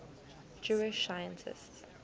jewish scientists